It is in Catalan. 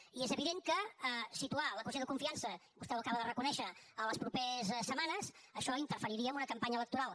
i és evident que situar la qüestió de confiança vostè ho acaba de reconèixer en les properes setmanes això interferiria en una campanya electoral